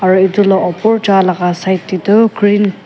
aru etu opor jaa laga side te toh green .